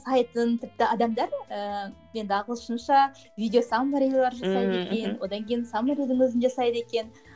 сайтын тіпті адамдар ііі енді ағылшынша видео саммарилар жасайды екен мхм одан кейін саммаридің өзін жасайды екен